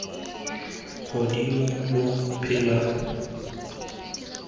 godimo lo phela sekgoa tota